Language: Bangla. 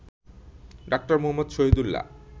ডঃ মুহাম্মদ শহীদুল্লাহ